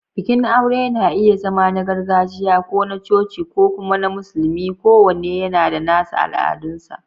Bikin aure na iya zama na gargajiya, ko na coci, ko kuma na musulmi, kowanne yana da nasa al'adunsa.